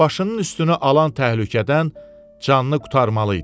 Başının üstünə alan təhlükədən canını qurtarmalı idi.